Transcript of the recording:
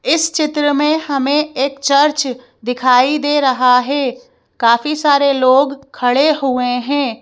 इस चित्र में हमें एक चर्च दिखाई दे रहा है काफी सारे लोग खड़े हुए हैं।